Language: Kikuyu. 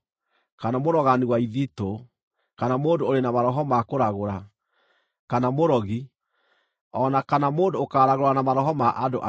kana mũrogani wa ithitũ, kana mũndũ ũrĩ na maroho ma kũragũra, kana mũrogi, o na kana mũndũ ũkaragũra na maroho ma andũ akuũ.